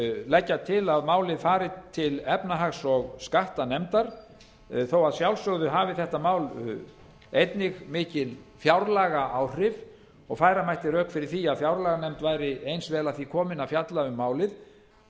leggja til að málið fari til efnahags og skattanefndar þó að sjálfsögðu hafi þetta mál einnig mikil fjárlagaáhrif og færa mætti rök fyrir því að fjárlaganefnd væri eins vel að því komin að fjalla um málið